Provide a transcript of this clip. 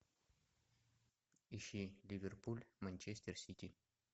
ищи ливерпуль манчестер сити